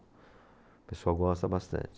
O pessoal gosta bastante.